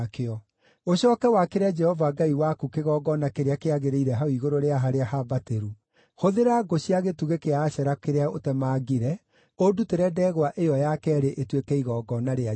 Ũcooke wakĩre Jehova Ngai waku kĩgongona kĩrĩa kĩagĩrĩire hau igũrũ rĩa harĩa hambatĩru. Hũthĩra ngũ cia gĩtugĩ kĩa Ashera kĩrĩa ũtemangire, ũndutĩre ndegwa ĩyo ya keerĩ ĩtuĩke igongona rĩa njino.”